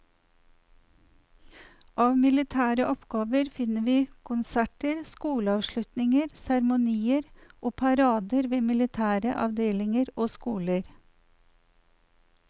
Av militære oppgaver finner vi konserter, skoleavslutninger, seremonier og parader ved militære avdelinger og skoler.